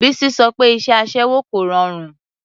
Bísí sọ pé iṣẹ́ aṣẹ́wó kò rọrùn.